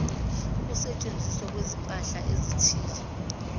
ukusetshenziswa kwezimpahla ezithile